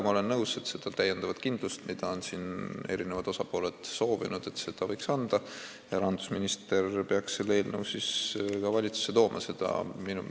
Ma olen nõus, et seda täiendavat kindlust, mida on eri osapooled soovinud, võiks anda ja rahandusminister peaks selle eelnõu valitsusse tooma.